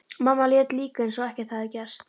Mamma lét líka eins og ekkert hefði gerst.